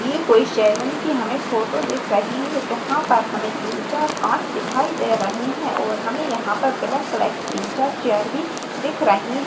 ये कोई सैलून की हमें फोटो दिख रही है। जहां पर हमें तीन चार कांच दिखाई दे रहे है और हमें यहां पे ब्लैक कलर की तीन चार चेयर भी दिख रही --